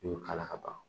I y'o k'a la ka ban